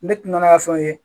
Ne ti na n'a ka fɛn ye